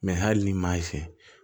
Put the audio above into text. hali ni maa y'i fɛ